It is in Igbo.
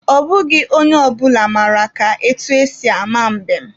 Ọ bụghị onye ọ bụla mara ka etu esi ama mbem.